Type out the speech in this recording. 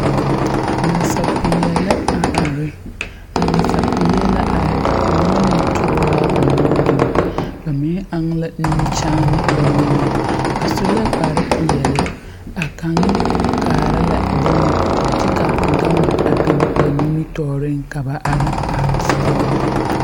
Nasapeɛɛle la are a nasapeɛɛl na are ba aŋ la nutooraa ba nuuriŋ ba mine aŋ la nimikyaane ba niŋeŋ ba su la kpare peɛɛli a kaŋeŋ kaara la bon kyɛ ka gama a biŋ ba nimitooreŋ ka ba are are kɔg.